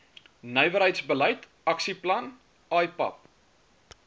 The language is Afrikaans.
nywerheidsbeleid aksieplan ipap